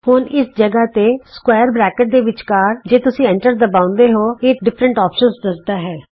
ਹੁਣ ਬਿਲਕੁਲ ਇਸ ਥਾਂ ਤੇ ਚੌਰਸ ਬਰੈਕਟਜ਼ ਦੇ ਵਿਚਕਾਰ ਜੇ ਤੁਸੀਂ ਐਟਰ ਦਬਾਉਂਦੇ ਹੋ ਇਹ ਤੁਹਾਨੂੰ ਅੱਲਗ ਅੱਲਗ ਵਿਕੱਲਪ ਦੱਸਦਾ ਹੈ